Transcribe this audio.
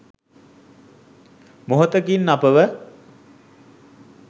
මොහොතකින් අපව